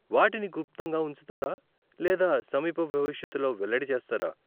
వాటిని గుప్తంగా ఉంచుతారా లేదా సమీప భవిష్యత్తులో వెల్లడి చేస్తారా ?